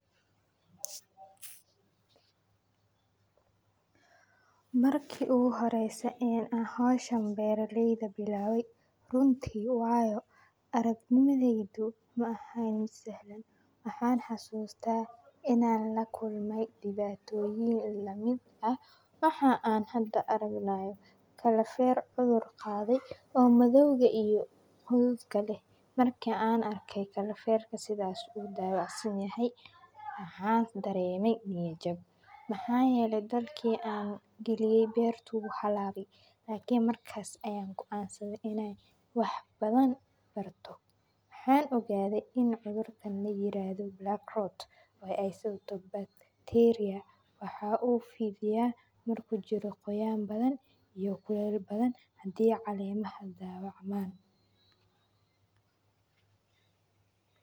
Markii uu horeysa een aa hawshan beerleyda bilaabay, runtii waayo aragnimideydu ma ahaa mid sahlan. Maxaan xusuustaa in aan la kulmay dhibaatooyin la mid ah, maxaa aan hadda aragnayo kalafeer cudur qaaday oo madowga iyo hudud kale. Markii aan arkay kalafeerka sidaas u daawo aad si yahay ahaan dareemay niya jab. Mahayele dalkeena geliye beertu hub halabi, taaki markaas ayanku goaansane inay wax badan barto. Maxaan ogaaday in cudurkandina yiraahdo Blackrot, way aysay u tobba bacteria. Waxaa u fiidiyaa mar ku jiro qoyaan badan iyo kuleel badan haddii caleema hada daawo camaan.